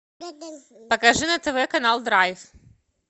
покажи на тв канал драйв